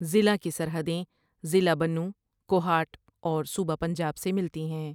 ضلع کی سرحدیں ضلع بنوں، کوہاٹ اور صوبہ پنجاب سے ملتی ہیں